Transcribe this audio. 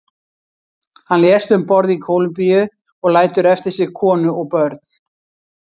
Hann lést um borð í Kólumbíu og lætur eftir sig konu og börn.